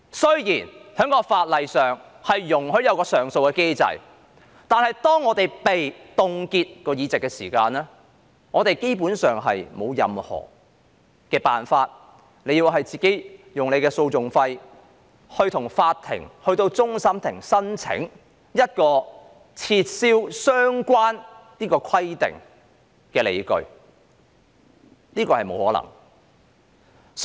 雖然在法律上設有上訴機制，但議員的議席若被凍結，基本上別無他法，只能自行承擔訟費，向終審法院提出申請撤銷相關規定的理據，但這是沒有可能辦到的事。